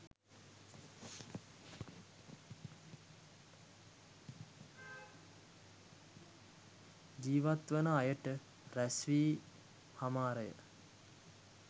ජීිවත් වන අයට රැස්වී හමාරය.